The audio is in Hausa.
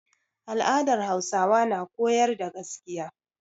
Al'adar Hausawa na koyar da gaskiya.